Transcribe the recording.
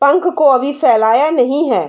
पंख को अभी फैलाया नहीं है।